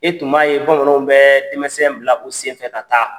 E tun b'a ye bamananw tun bɛ denmisɛn bila u senfɛ ka taa.